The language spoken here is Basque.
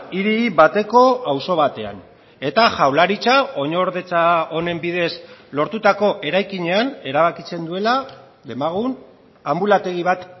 hiri bateko auzo batean eta jaurlaritza oinordetza honen bidez lortutako eraikinean erabakitzen duela demagun anbulategi bat